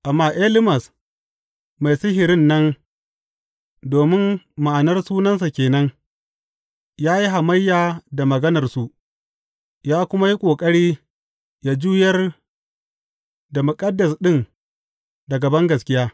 Amma Elimas mai sihirin nan domin ma’anar sunansa ke nan ya yi hamayya da maganarsu ya kuma yi ƙoƙari ya juyar da muƙaddas ɗin daga bangaskiya.